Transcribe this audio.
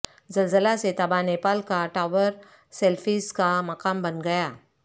زلزلہ سے تباہ نیپال کا ٹاور سیلفیز کا مقام بن گیا